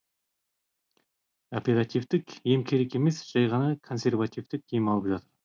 оперативтік ем керек емес жай ғана консервативтік ем алып жатыр